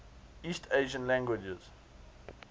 east asian languages